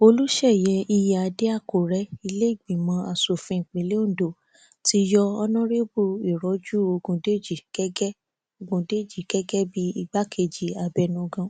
olúṣeyi ìyíáde àkùrẹ ile ìgbìmọ aṣòfin ìpínlẹ ondo ti yọ ọnọrẹbù ìrọjú ọgúndéjì gẹgẹ ọgúndéjì gẹgẹ bíi igbákejì abẹnugan